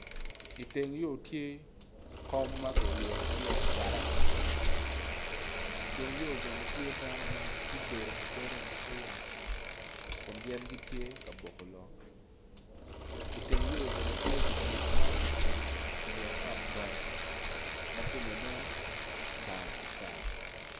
Iteng yo tye kom ma kiryeyo me acata iteng yo bene tye dano ma ubedo abeda ite yat kun gin gitye ka boko lok iteng yo bene tye pikipiki ma ki jengo iteng ot bati ma kume nen tar tar.